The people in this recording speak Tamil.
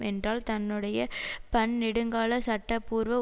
என்றால் தன்னுடைய பன்னெடுங்கால சட்டபூர்வ